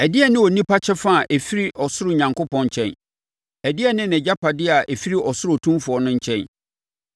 Ɛdeɛn ne onipa kyɛfa a ɛfiri ɔsoro Onyankopɔn nkyɛn? Ɛdeɛn ne nʼagyapadeɛ a ɛfiri ɔsoro Otumfoɔ no nkyɛn?